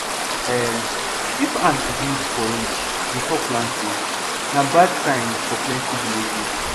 um if ants build for ridge before planting na bad sign for plenty villages